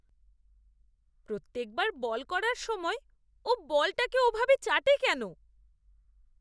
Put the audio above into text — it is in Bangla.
প্রত্যেকবার বল করার সময় ও বলটাকে ওভাবে চাটে কেন?